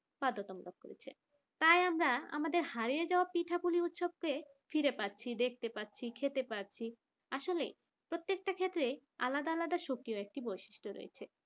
বাধ্যতামূলক করেছে তাই আমরা আমাদের হারিয়ে যাওয়া পিঠাগুলো উৎসবকে ফিরে পাচ্ছি দেখতে পাচ্ছি খেতে পাচ্ছি আসলে প্রত্যেকটা ক্ষেত্রে আলাদা আলাদা সুখের একটা বৈশিষ্ট্য রয়েছে।